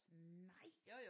Nej